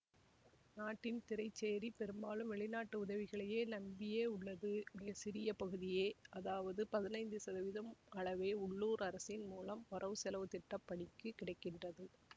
நாட்டின் திறைசேரி பெரும்பாலும் வெளிநாட்டு உதவிகளை நம்பியே உள்ளது மிக சிறிய பகுதியே அதாவது பதினைந்து சதவீதம் அளவே உள்ளுர் அரசின் மூலம் வரவுசெலவு திட்ட பணிக்குக் கிடை கின்றது